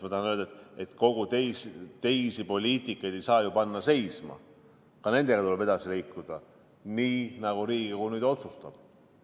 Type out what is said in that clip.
Ma tahan öelda, et kõiki teisi poliitikaid ei saa ju panna seisma, ka nendega tuleb edasi liikuda, nii nagu Riigikogu otsustab.